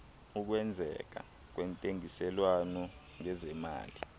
ukwenzeka kwentengiselwano ngezemali